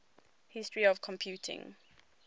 history of computing